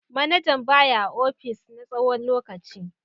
Manajan ba ya a opis na tsawon lokaci.